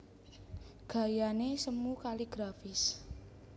Gayané semu kaligrafis